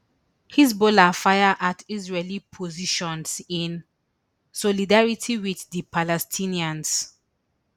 hezbollah fire at israeli positions in solidarity wit di palestinians